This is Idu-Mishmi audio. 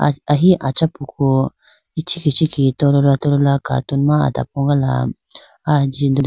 Ahi achapuku ichikhi ichikhi tolola tolola cartoon ma adapogala aya jinde.